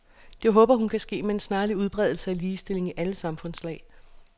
Det håber hun kan ske med en snarlig udbredelse af ligestilling i alle samfundslag.